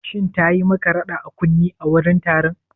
Shin tayi maka rada a kunne a wurin taron?